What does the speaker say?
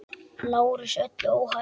LÁRUS: Öllu óhætt!